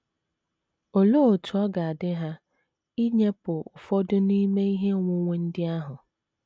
Olee otú ọ ga - adị ha inyepụ ụfọdụ n’ime ihe onwunwe ndị ahụ?